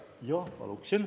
Jah, paluksin.